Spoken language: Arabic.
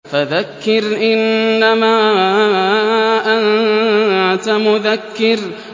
فَذَكِّرْ إِنَّمَا أَنتَ مُذَكِّرٌ